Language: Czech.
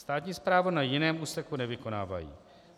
Státní správu na jiném úseku nevykonávají.